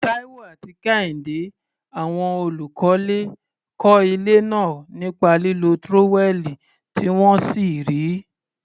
Taiwo àti Kehinde, àwọn olùkọ́lé, kọ́ ilé náà nípa lílo tírówẹ́ẹ̀lì tí wọ́n sì rí i.